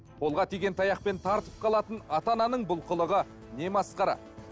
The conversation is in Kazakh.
қолға тиген таяқпен тартып қалатын ата ананың бұл қылығы не масқара